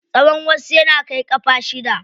Tsawan wasu yana kai ƙafa shida.